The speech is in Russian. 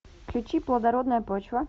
включи плодородная почва